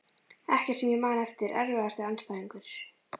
Ekkert sem ég man eftir Erfiðasti andstæðingur?